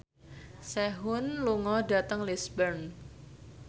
Sehun lunga dhateng Lisburn